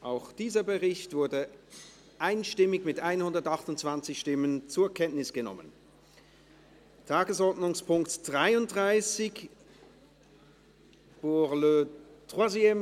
Auch dieser Bericht wurde einstimmig zur Kenntnis genommen, mit 128 Ja- gegen 0 NeinStimmen bei 0 Enthaltungen.